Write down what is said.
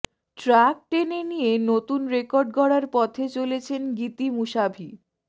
truck টেনে নিয়ে নতুন রেকর্ড গড়ার পথে চলেছেন গিতি মুসাভি